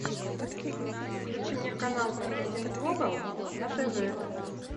включи мне канал м один глобал на тв